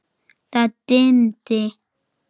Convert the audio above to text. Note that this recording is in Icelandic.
Það dimmdi.